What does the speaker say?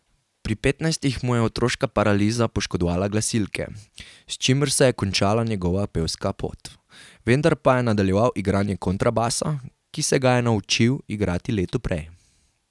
Pri petnajstih mu je otroška paraliza poškodovala glasilke, s čimer se je končala njegova pevska pot, vendar pa je nadaljeval igranje kontrabasa, ki se ga je naučil igrati leto prej.